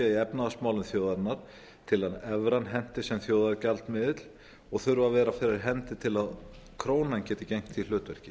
í efnahagsmálum þjóðarinnar til að evran henti sem þjóðargjaldmiðill og þurfa að vera fyrir hendi til að krónan geti gegnt því hlutverki